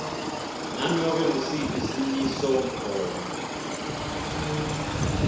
nanobe ngusiphi simisomgomo